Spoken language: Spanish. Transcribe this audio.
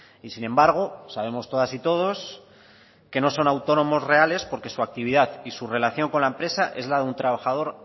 y sin embargo sabemos todas y todos que no son autónomos reales porque su actividad y su relación con la empresa es la de un trabajador